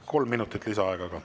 Kolm minutit lisaaega ka.